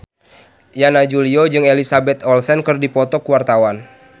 Yana Julio jeung Elizabeth Olsen keur dipoto ku wartawan